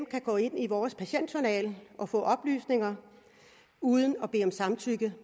kan gå ind i vores patientjournaler og få oplysninger uden at bede om samtykke